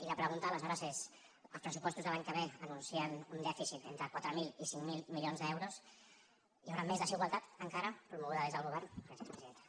i la pregunta aleshores és els pressupostos de l’any que ve anuncien un dèficit entre quatre mil i cinc mil milions d’euros hi haurà més desigualtat encara promoguda des del govern gràcies presidenta